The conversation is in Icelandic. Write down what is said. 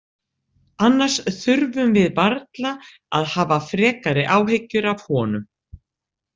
Annars þurfum við varla að hafa frekari áhyggjur af honum.